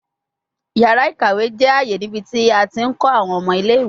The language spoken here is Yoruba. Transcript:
Yara ikawe jẹ aaye nibiti a ti nkọ awọn ọmọ ile-iwe